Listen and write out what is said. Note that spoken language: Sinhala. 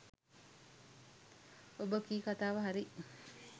ඔබ කී කතාව හරි